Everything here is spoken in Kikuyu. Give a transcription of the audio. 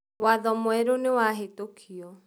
Watho mwerũ nĩwahĩtũkĩo.